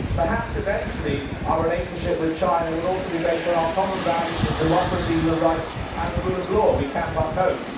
Perhaps eventually our relationship with China will also be based on our common values of democracy, human rights and the rule of law we can but hope.